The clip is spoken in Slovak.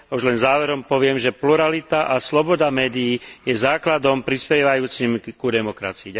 A už len záverom poviem, že pluralita a sloboda médií je základom prispievajúcim ku demokracii.